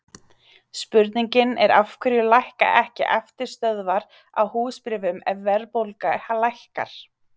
Spurningin er af hverju lækka ekki eftirstöðvar á húsbréfum ef verðbólga lækkar?